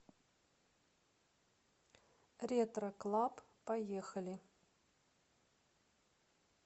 ретро клаб поехали